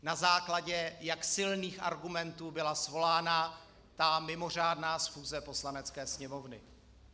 Na základě jak silných argumentů byla svolána ta mimořádná schůze Poslanecké sněmovny.